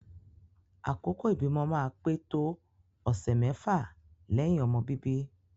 Àkókò ibimọ máa pè tóò ọsẹ mẹfa lẹhin ọmọ bíbí